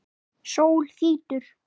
Sól þrýtur.